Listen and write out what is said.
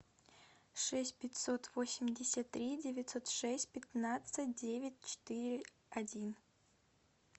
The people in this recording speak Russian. шесть пятьсот восемьдесят три девятьсот шесть пятнадцать девять четыре один